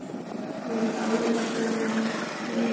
Mynd og lesefni á netinu